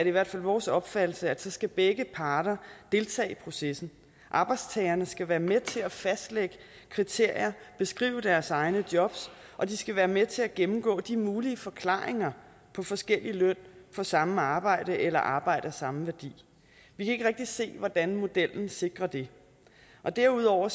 i hvert fald vores opfattelse at så skal begge parter deltage i processen arbejdstagerne skal være med til at fastlægge kriterier og beskrive deres egne job og de skal være med til at gennemgå de mulige forklaringer på forskellig løn for samme arbejde eller arbejde af samme værdi vi kan ikke rigtig se hvordan modellen sikrer det derudover